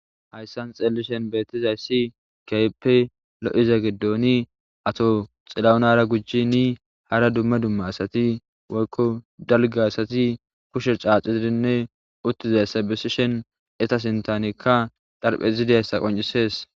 Hayssan xellishen beetizayssi keyppe lo7iza giddoni ato xilaunara gujji ni hara dumma dumma asati woykko dalga asati kushe caacizidinne uttizay sabesishen eta sintanekka dharphe zidessa qoncisees